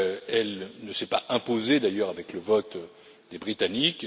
Elle ne s'est pas imposée, d'ailleurs, avec le vote des Britanniques.